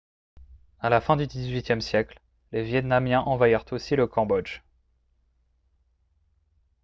à la fin du xviiie siècle les vietnamiens envahirent aussi le cambodge